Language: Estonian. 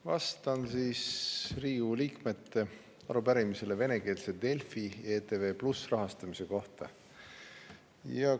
Vastan Riigikogu liikmete arupärimisele venekeelse Delfi ja ETV+ rahastamise kohta.